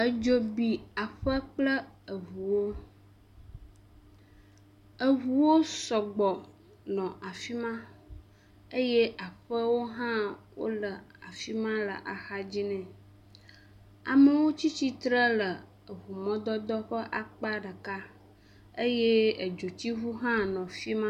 Edzo bi aƒe kple eŋuwo, eŋuwo sɔgbɔ nɔ afi ma eye aƒewo hã wole afi ma le axa dzinɛ, amewo tsi tsitre le eŋu mɔ dodoa ƒe akpa ɖeka eye edzotsiŋu hã nɔ afi ma